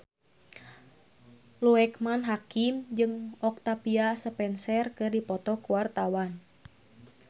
Loekman Hakim jeung Octavia Spencer keur dipoto ku wartawan